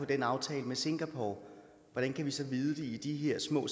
den aftale med singapore hvordan kan vi så vide det i de her små